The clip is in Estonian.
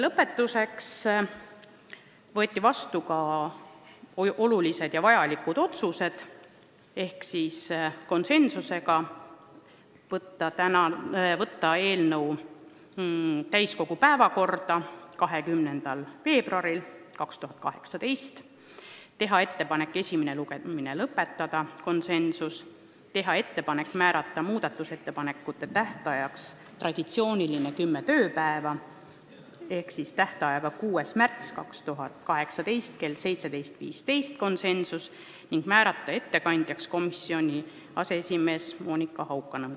Lõpetuseks võeti vastu olulised ja vajalikud otsused: saata eelnõu täiskogu päevakorda 20. veebruariks 2018 , teha ettepanek esimene lugemine lõpetada , teha ettepanek määrata muudatusettepanekute esitamise tähtajaks traditsioonilised kümme tööpäeva ehk tähtaeg oleks 6. märtsil 2018 kell 17.15 ning määrata ettekandjaks komisjoni aseesimees Monika Haukanõmm .